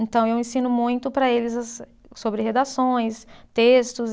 Então, eu ensino muito para eles sobre redações, textos.